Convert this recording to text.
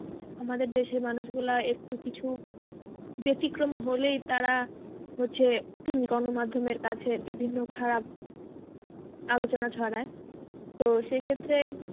আমাদের দেশের মানুষ গুলা একটু কিছু ব্যতিক্রম হলেই তারা হচ্ছে উম গণমাধ্যমের কাছে বিভিন্ন খারাপ আলোচনা ছড়ায় তো সেইক্ষেত্রে